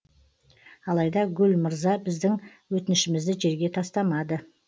алайда гүл мырза біздің өтінішімізді жерге тастамады